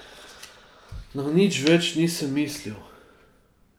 Na nič več nisem mislil.